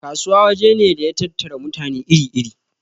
Kasuwa waje ne da ya tattara mutane iri iri